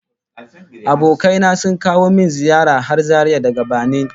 Abokai na sun kawo min ziyara har Zaria daga Banin